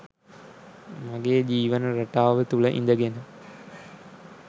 මගේ ජීවන රටාව තුළ ඉඳගෙන